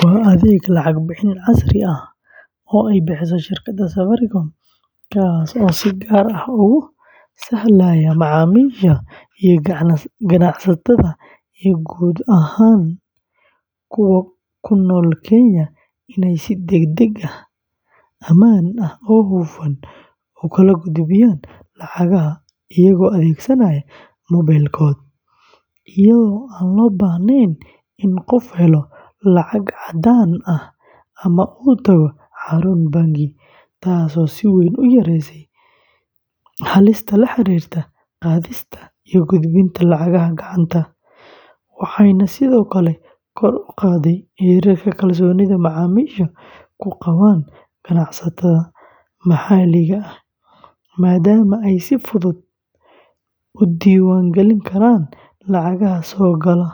Waa adeeg lacag bixin casri ah oo ay bixiso shirkadda Safaricom, kaas oo si gaar ah ugu sahlaya macaamiisha iyo ganacsatada iyo guud ahaan kuwa ku nool Kenya inay si degdeg ah, ammaan ah oo hufan u kala gudbiyaan lacagaha iyagoo adeegsanaya moobilkooda, iyadoo aan loo baahnayn in qofku helo lacag caddaan ah ama uu tago xarun bangi, taasoo si weyn u yareysay halista la xiriirta qaadista iyo gudbinta lacagaha gacanta, waxayna sidoo kale kor u qaaday heerka kalsoonida macaamiishu ku qabaan ganacsatada maxalliga ah, maadaama ay si fudud u diiwaan gelin karaan lacagaha soo gala,